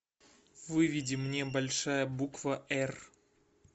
выведи мне большая буква р